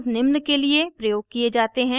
residues निम्न के लिए प्रयोग किये जाते हैं